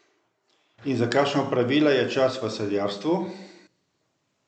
In za kakšna opravila je čas v sadjarstvu?